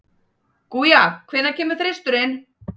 Guja, hvenær kemur þristurinn?